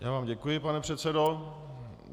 Já vám děkuji, pane předsedo.